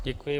Děkuji.